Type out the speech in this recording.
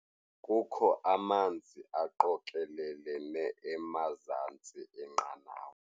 Kukho amanzi aqokelelene emazantsi enqanawa.